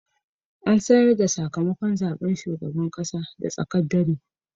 An sanar da sakamakon zaben shugaban kasa da tsaken dare.